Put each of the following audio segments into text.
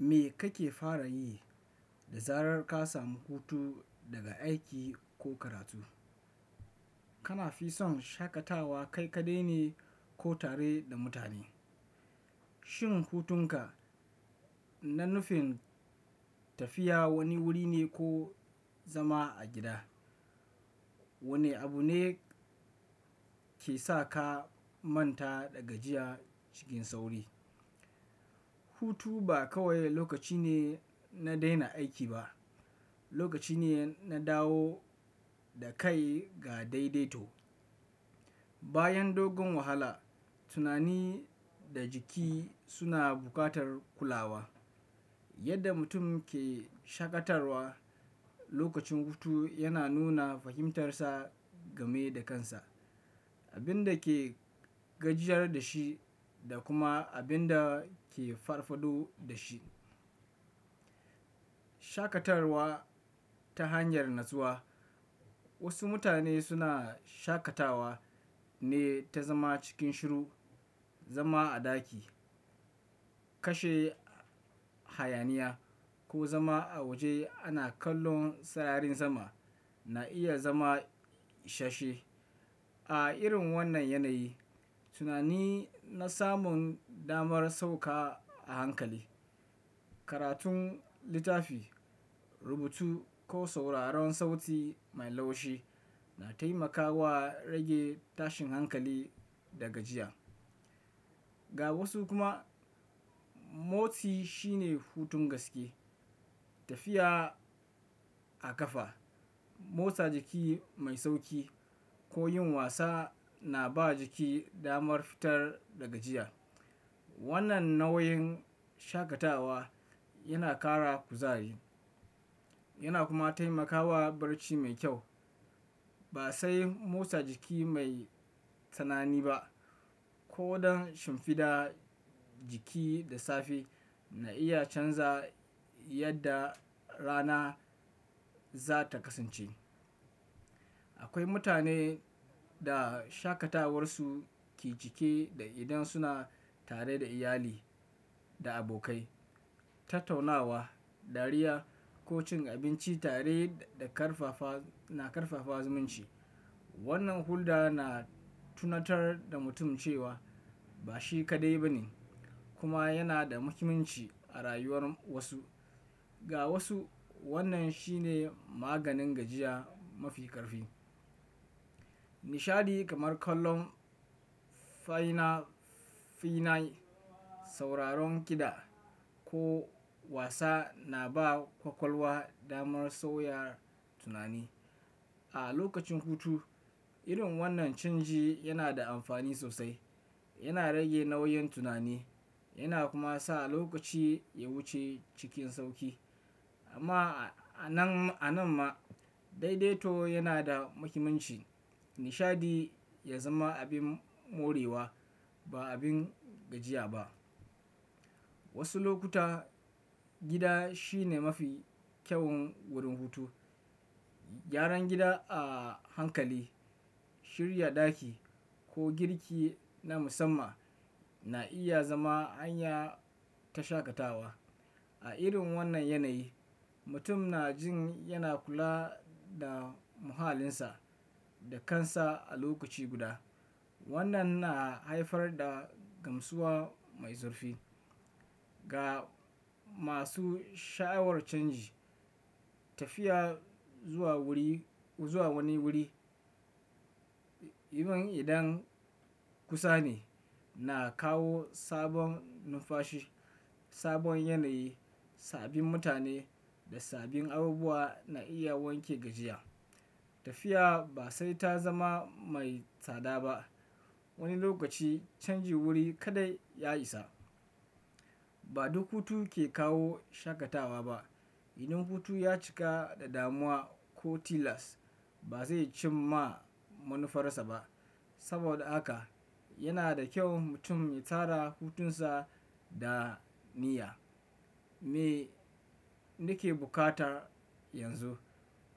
Me kake fara yi da zarar ka samu hutu daga aiki ko karatu? Kana fi son shakatawa kai kaɗai ne ko tare da mutane? Shin hutunka na nufin tafiya wani wuri ne ko zama a gida? Wane abu ne ke sa ka manta da gajiya cikin sauri? Hutu ba kawai lokaci ne na daina aiki ba, lokaci ne na dawo da kai ga daidaito. Bayan dogon wahala, tunani da jiki suna buƙatar kulawa. Yadda mutum ke shakartawa lokacin hutu yana nuna fahimtarsa game da kansa, abin da ke gajiyar da shi da kuma abin da ke farfado da shi. Shakatarwa ta hanyar natsuwa. Wasu mutane suna shakatawa ne ta zama cikin shiru, zama a ɗaki, kashe hayaniya ko zama a waje ana kallon sararin sama na iya zama shashe. A irin wannan yanayi tunani na samun damar sauka a hankali. Karatun, littafi, rubutu ko sauraron sauti mai laushi na taimakawa rage tashin hankali da gajiya. Ga wasu kuma motsi shine hutun gaske. Tafiya a ƙafa, motsa jiki mai sauƙi ko yin wasa na ba jiki damar fitar daga gajiya. Wannan nau'in shakatawa yana ƙara kuzari yana kuma taimakawa barci mai kyau. Ba sai motsa jiki mai tsanani ba ko don shimfiɗa jiki da safe na iya canza yadda rana za ta kasance. Akwai mutane da shakatawarsu ke cike da idan suna tare da iyali da abokai. Tattaunawa, dariya ko cin abinci tare da ƙarfafa na ƙarfafa zumunci. Wannan hulɗa na tunatar da mutum cewa ba shi kaɗai ba ne kuma yana da muhimmanci a rayuwar wasu. Ga wasu wannan shine maganin gajiya mafi ƙarfi. Nishadi kamar kallon fina-finai, sauraron kiɗa ko wasa na ba ƙwaƙwalwa damar sauyar tunani. A lokacin hutu, irin wannan canji yana da amfani sosai. Yana rage nauyin tunani yana kuma sa lokaci ya wuce cikin sauƙi. Amma a nan a nan ma daidaito yana da muhimmanci. Nishadi ya zama abin morewa ba abin gajiya ba. Wasu lokuta gida shine mafi kyawun wurin hutu. Gyaran gida a hankali, shirya ɗaki ko girki na musamman na iya zama hanya ta shakatawa. A irin wannan yanayi, mutum na jin yana kula da muhallinsa da kansa a lokaci guda. Wannan na haifar da gamsuwa mai zurfi. Ga masu sha'awar canji, tafiya zuwa wuri zuwa wani wuri, musamman idan kusa ne, na kawo sabon numfashi, sabon yanayi, sabbin mutane da sabbin abubuwa na iya wanke gajiya. Tafiya ba sai ta zama mai tsada ba. Wani lokaci canjin wuri kaɗai ya isa. Ba duk hutu ke kawo shakatawa ba. Idan hutu ya cika da damuwa ko tilas, ba zai cim ma manufarsa ba. Saboda haka yana da kyau mutum ya tsara hutunsa da niyya. Me nake bukata yanzu?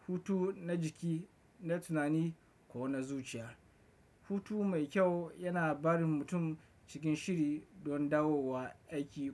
Hutu na jiki, na tunani ko na zuciya? Hutu mai kyau yana barin mutum cikin shiri don dawowa aiki ko-